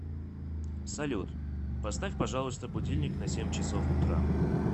салют поставь пожалуйста будильник на семь часов утра